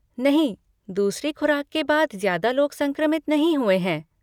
नहीं, दूसरी खुराक के बाद ज्यादा लोग संक्रमित नहीं हुए हैं।